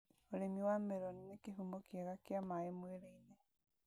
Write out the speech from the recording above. ũrĩmi wa meroni nĩ kĩhumo kĩega kĩa maĩ mwĩrĩ-inĩ